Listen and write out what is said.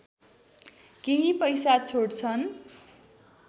केही पैसा छोड्छन्